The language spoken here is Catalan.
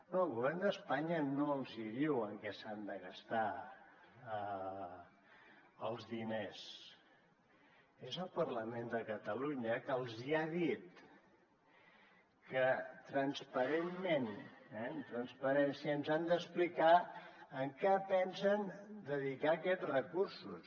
no el govern d’espanya no els hi diu en què s’han de gastar els diners és el parlament de catalunya que els hi ha dit que transparentment eh amb transparència ens han d’explicar a què pensen dedicar aquests recursos